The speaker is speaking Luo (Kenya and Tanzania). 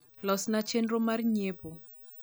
los na chenro mar nyiepo